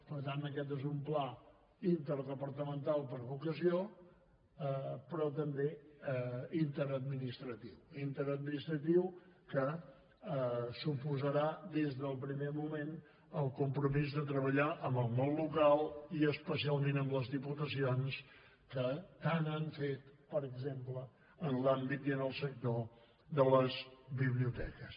per tant aquest és un pla interdepartamental per a l’ocasió però també interadministratiu interadministratiu que suposarà des del primer moment el compromís de treballar amb el món local i especialment amb les diputacions que tant han fet per exemple en l’àmbit i en el sector de les biblioteques